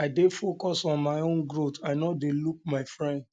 um i dey focus on my own growth i um no dey look um my friends